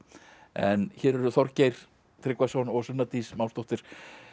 en hér eru Þorgeir Tryggvason og Sunna Dís Másdóttir